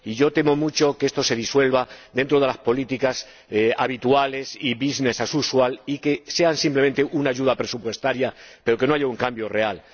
Temo mucho que esto se disuelva dentro de las políticas habituales y business as usual y que sean simplemente una ayuda presupuestaria, pero que no haya un cambio real.